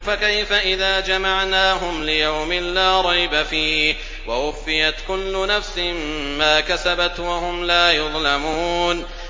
فَكَيْفَ إِذَا جَمَعْنَاهُمْ لِيَوْمٍ لَّا رَيْبَ فِيهِ وَوُفِّيَتْ كُلُّ نَفْسٍ مَّا كَسَبَتْ وَهُمْ لَا يُظْلَمُونَ